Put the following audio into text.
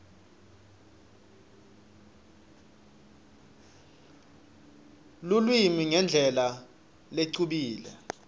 lulwimi ngendlela lecubile